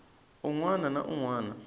un wana na un wana